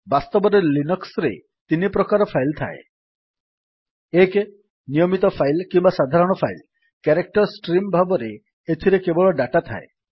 ବାସ୍ତବରେ ଲିନକ୍ସ୍ ରେ ତିନିପ୍ରକାର ଫାଇଲ୍ ଥାଏ160 1 ନିୟମିତ ଫାଇଲ୍ କିମ୍ୱା ସାଧାରଣ ଫାଇଲ୍160 କ୍ୟାରେକ୍ଟର୍ ଷ୍ଟ୍ରିମ୍ ଭାବରେ ଏଥିରେ କେବଳ ଡାଟା ଥାଏ